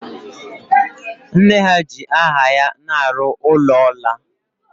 Nne ha ji aha ya na-arụ ụlọ ọla